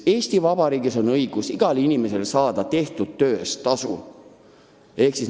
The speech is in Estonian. Eesti Vabariigis on igal inimesel õigus saada tehtud töö eest tasu.